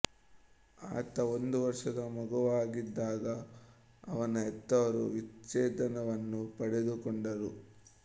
ಆತ ಒಂದು ವರ್ಷದ ಮಗುವಾಗಿದ್ದಾಗ ಅವನ ಹೆತ್ತವರು ವಿಚ್ಚೇದನವನ್ನು ಪಡೆದುಕೊಂಡರು